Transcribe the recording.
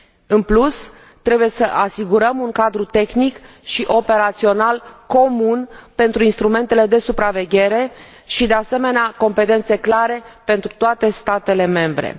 În plus, trebuie să asigurăm un cadru tehnic și operațional comun pentru instrumentele de supraveghere și, de asemenea, competențe clare pentru toate statele membre.